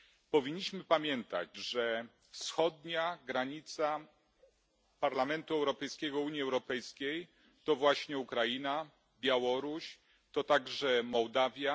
Powinniśmy pamiętać, że wschodnia granica Parlamentu Europejskiego Unii Europejskiej to właśnie Ukraina, Białoruś, to także Mołdawia.